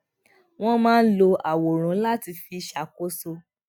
wón máa ń lo àwòrán láti fi ṣàkóso